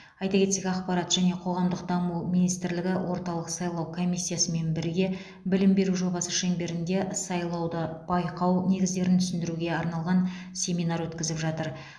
айта кетсек ақпарат және қоғамдық даму министрлігі орталық сайлау комиссиясымен бірге білім беру жобасы шеңберінде сайлауды байқау негіздерін түсіндіруге арналған семинар өткізіп жатыр